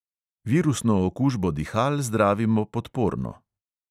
Virusno okužbo dihal zdravimo podporno.